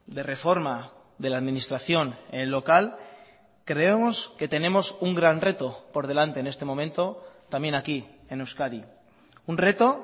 de reforma de la administración en local creemos que tenemos un gran reto por delante en este momento también aquí en euskadi un reto